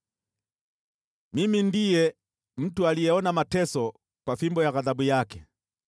Mimi ndiye mtu aliyeona mateso kwa fimbo ya ghadhabu yake.